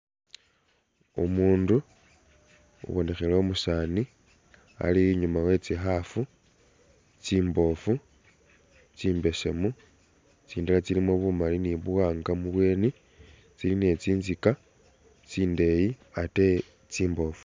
Umundu ubonekhele umusani ali inyuma we’tsikhafu tsimbofu tsimbesemu tsindala tsilimo bumali ni buwanga mubweni tsili ni tsi’nzika tsindeyi ate tsimbofu .